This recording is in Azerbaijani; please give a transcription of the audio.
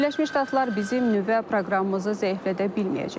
Birləşmiş Ştatlar bizim nüvə proqramımızı zəiflədə bilməyəcək.